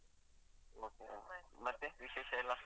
Okay ಮತ್ತೆ ವಿಶೇಷ ಎಲ್ಲಾ?